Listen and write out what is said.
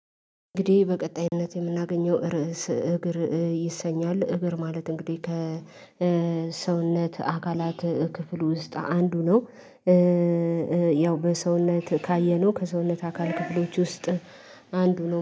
እንግዲህ በቀጣይነት የምናገኘው ርዕስ እግር ይሰኛል እግር ማለት እንግዲህ ከሰውነት አካላት ክፍል ውስጥ አንዱ ነው። ያው በሰውነት ካየነው ከሰውነት አካል ክፍሎች ውስጥ አንዱ ነው